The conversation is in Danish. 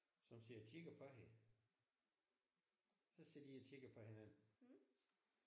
Som sidder og kigge på hende. Så sidder de og kigger på hinanden